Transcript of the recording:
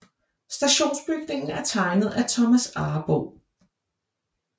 Stationsbygningen er tegnet af Thomas Arboe